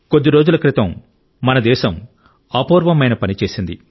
కొద్ది రోజుల క్రితం మన దేశం అపూర్వమైన పని చేసింది